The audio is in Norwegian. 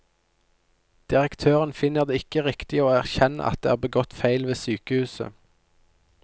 Direktøren finner det ikke riktig å erkjenne at det er begått feil ved sykehuset.